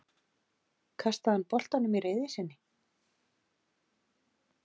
Kastaði hann boltanum í reiði sinni?